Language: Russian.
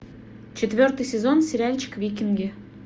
четвертый сезон сериальчик викинги